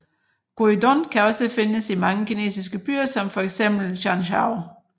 Gyuudon kan også findes i mange kinesiske byer som for eksempel Guangzhou